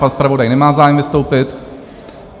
Pan zpravodaj nemá zájem vystoupit?